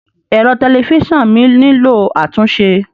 Ẹ̀rọ tẹlifíṣàn mi nílò àtúnṣe.